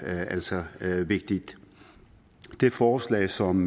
altså vigtigt det forslag som